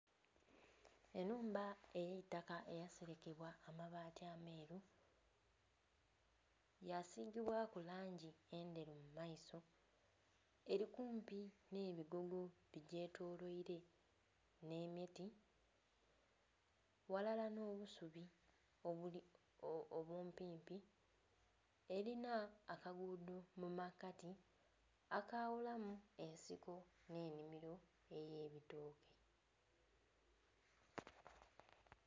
Ennhumba ey'eitaka eyaselekebwa amabaati ameeru, yasiigibwaku langi endheru mu maiso, eli kumpi nh'ebigogo bigyetoloile nh'emiti, ghalala nh'obusubi obumpimpi. Elina akaguudho mu makati akaghulamu ensiko nh'ennhimilo ey'ebitooke.